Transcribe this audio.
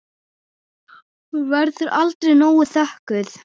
Hún verður aldrei nóg þökkuð.